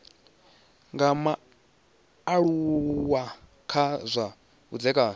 tsha mualuwa kha zwa vhudzekani